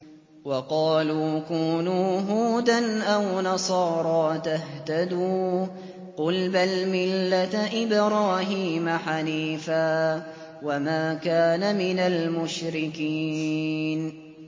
وَقَالُوا كُونُوا هُودًا أَوْ نَصَارَىٰ تَهْتَدُوا ۗ قُلْ بَلْ مِلَّةَ إِبْرَاهِيمَ حَنِيفًا ۖ وَمَا كَانَ مِنَ الْمُشْرِكِينَ